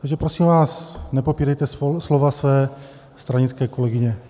Takže, prosím vás, nepopírejte slova své stranické kolegyně.